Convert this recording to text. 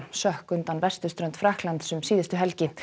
sökk undan vesturströnd Frakklands um síðustu helgi